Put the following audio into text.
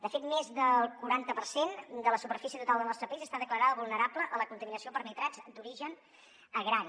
de fet més del quaranta per cent de la superfície total del nostre país està declarada vulnerable a la contaminació per nitrats d’origen agrari